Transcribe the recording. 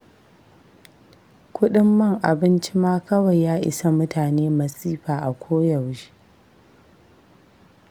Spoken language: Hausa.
Kuɗin man abinci ma kawai ya isa mutane masifa a koyaushe.